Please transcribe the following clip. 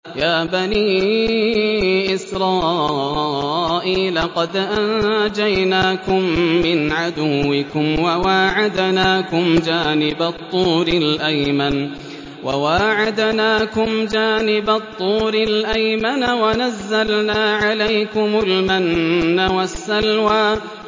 يَا بَنِي إِسْرَائِيلَ قَدْ أَنجَيْنَاكُم مِّنْ عَدُوِّكُمْ وَوَاعَدْنَاكُمْ جَانِبَ الطُّورِ الْأَيْمَنَ وَنَزَّلْنَا عَلَيْكُمُ الْمَنَّ وَالسَّلْوَىٰ